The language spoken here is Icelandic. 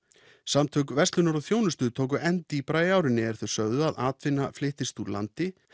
samtök verslunar og þjónustu tóku enn dýpra í árinni er þau sögðu að atvinna flyttist úr landi